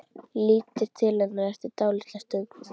Lítur til hennar eftir dálitla stund.